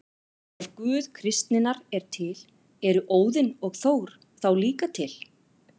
Ef Guð kristninnar er til, eru Óðinn og Þór þá líka til?